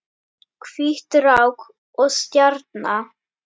Hvít rák og stjarna